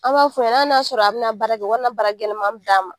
An b'a f'u ɲɛ ali bina baara kɛ u kana baara gɛlɛma d'a ma.